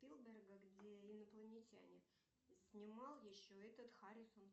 спилберга где инопланетяне снимал еще этот харрисон